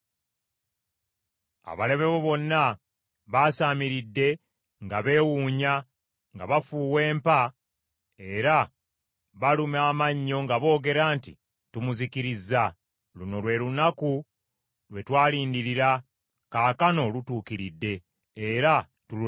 Abalabe bo bonna baasaamiridde nga beewuunya; nga bafuuwa empa, era baluma amannyo nga boogera nti, “Tumuzikirizza. Luno lwe lunaku lwe twalindirira, kaakano lutuukiridde, era tululabye.”